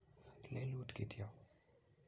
Lelut kityo